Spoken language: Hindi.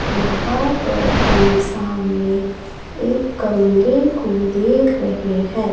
यहां पर हम सामने एक कमरे को देख रहे हैं।